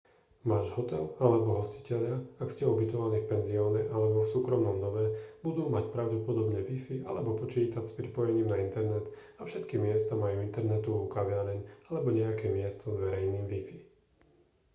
váš hotel alebo hostitelia ak ste ubytovaní v penzióne alebo v súkromnom dome budú mať pravdepodobne wifi alebo počítač s pripojením na internet a všetky miesta majú internetovú kaviareň alebo nejaké miesto s verejným wifi